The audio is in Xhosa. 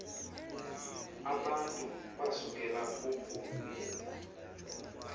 abantu basukela uku